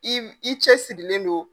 I i cɛsirilen don